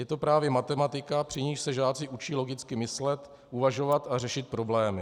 Je to právě matematika, při níž se žáci učí logicky myslet, uvažovat a řešit problémy.